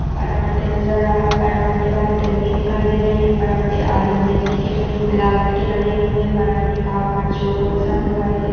पराठे नजर आ पराठे बहुत यम्मी दिखाई दे रहे हैं पराठे आलू मेथी के मिलावट के बने हुए हैं पराठे का आकार चौकोर सा दिखाई दे --